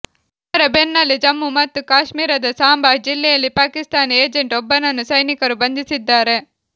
ಇದರ ಬೆನ್ನಲ್ಲೇ ಜಮ್ಮು ಮತ್ತು ಕಾಶ್ಮೀರದ ಸಾಂಬಾ ಜಿಲ್ಲೆಯಲ್ಲಿ ಪಾಕಿಸ್ತಾನಿ ಏಜೆಂಟ್ ಒಬ್ಬನನ್ನು ಸೈನಿಕರು ಬಂಧಿಸಿದ್ದಾರೆ